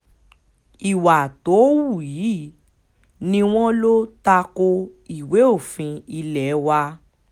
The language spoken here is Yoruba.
ìwà tó hù yìí ni wọ́n lọ ta ko ìwé òfin ilé wa